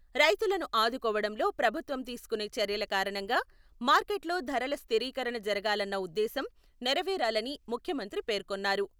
రైతులను ఆదుకోవడంలో ప్రభుత్వం తీసుకునే చర్యల కారణంగా మార్కెట్లో ధరల స్థిరీకరణ జరగాలన్న ఉద్దేశం నెరవేరాలని ముఖ్యమంత్రి పేర్కొన్నారు.